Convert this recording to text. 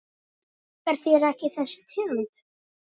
Líkar þér ekki þessi tegund?